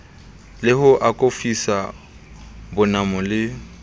le ho akofisa bonamo le